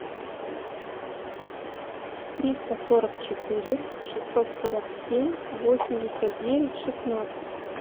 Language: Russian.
триста сорок четыре шестьсот сорок семь восемьдесят девять шестнадцать